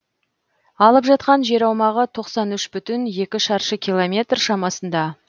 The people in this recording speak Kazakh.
алып жатқан жер аумағы тоқсан үш бүтін екі шаршы километр шамасында